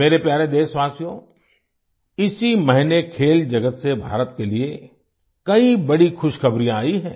मेरे प्यारे देशवासियो इसी महीने खेल जगत से भारत के लिए कई बड़ी खुशखबरी आई हैं